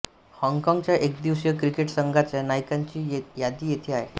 हॉँगकॉँगच्या एकदिवसीय क्रिकेट संघाच्या नायकांची यादी येथे आहे